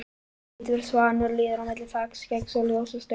Hvítur svanur líður á milli þakskeggs og ljósastaurs.